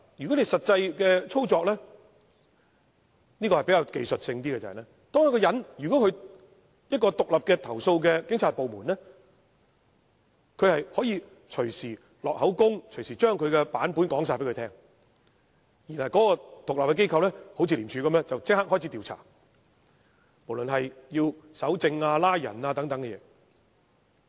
但是，實際的操作是技術性的問題，在獨立的投訴警察部門，投訴人可以隨時錄取口供，將他的版本說出，然後這獨立機構便會如廉署般展開調查，包括搜證和拘捕等事宜。